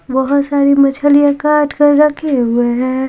बहुत सारी मछलियाँ काट कर रखे हुए हैं।